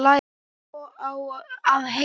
Jú, svo á að heita.